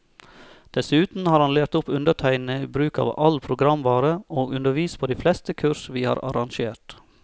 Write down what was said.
Dessuten har han lært opp undertegnede i bruk av all programvare, og undervist på de fleste kurs vi har arrangert.